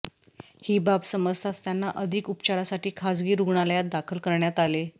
ही बाब समजताच त्यांना अधिक उपचारासाठी खासगी रुग्णालयात दाखल करण्यात आले